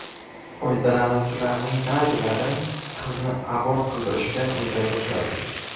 Foydalanuvchilarning ba’zilari qizni abort qildirishga unday boshladi.